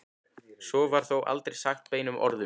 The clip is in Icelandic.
Svo var þó aldrei sagt beinum orðum.